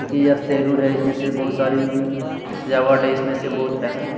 एक सैलून है इसमें सिर्फ बहुत सारी सजावट है इसमें से बोहोत पैसा --